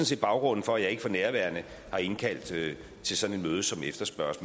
set baggrunden for at jeg ikke for nærværende har indkaldt til sådan et møde som efterspørges